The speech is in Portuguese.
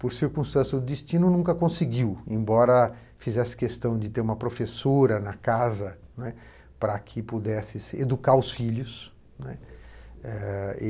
Por circunstância do destino, nunca conseguiu, embora fizesse questão de ter uma professora na casa. né, para que pudesse educar os filhos, né.